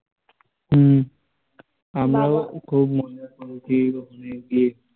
হম আমরাও খুব মজা করেছি ওখানে গিয়ে